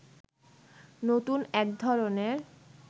নতুন এক ধরণের